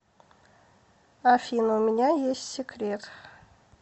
афина у меня есть секрет